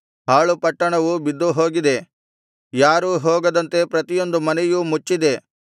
ಹಾಳುಪಟ್ಟಣವು ಬಿದ್ದುಹೋಗಿದೆ ಯಾರೂ ಹೋಗದಂತೆ ಪ್ರತಿಯೊಂದು ಮನೆಯೂ ಮುಚ್ಚಿದೆ